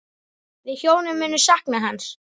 Við hjónin munum sakna hans.